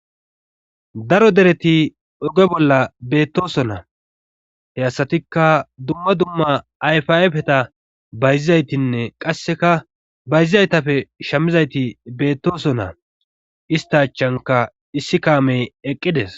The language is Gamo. daro dereti oge bolla beettoso na he hasatikka dumma dumma ayfaapeta bayzizaytinne qasseka bayzizaytapfe shamizayti beettoso naa ista achanka issi kaamey eqqides